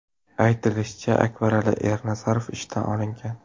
Aytilishicha, Akbarali Ernazarov ishdan olingan.